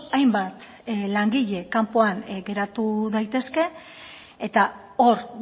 hainbat langile kanpoan geratu daitezke eta hor